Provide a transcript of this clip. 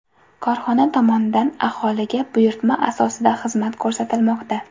Korxona tomonidan aholiga buyurtma asosida xizmat ko‘rsatilmoqda.